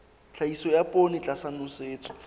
tlhahiso ya poone tlasa nosetso